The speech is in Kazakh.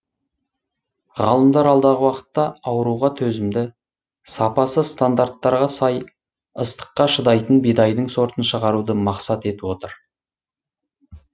ғалымдар алдағы уақытта ауруға төзімді сапасы стандарттарға сай ыстыққа шыдайтын бидайдың сортын шығаруды мақсат етіп отыр